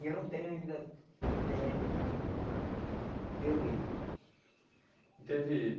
E eu não tenho ainda terreno meu mesmo. Teve